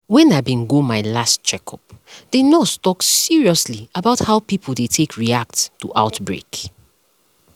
when i bin go my last checkup the nurse talk seriously about how people dey take react to outbreak